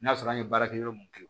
N'a sɔrɔ an ye baarakɛyɔrɔ mun kɛ